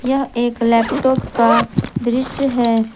यह एक लैपटॉप का दृश्य है।